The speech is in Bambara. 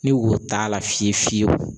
Ni wo t'a la fiye fiyewu